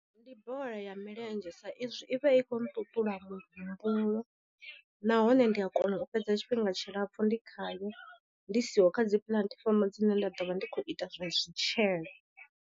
Ndi bola ya milenzhe sa izwi i vha i khou nṱuṱula muhumbulo, nahone ndi a kona u fhedza tshifhinga tshilapfu ndi khayo ndi siho kha dzi puḽatifomo dzine nda ḓo vha ndi khou ita zwa zwitshele.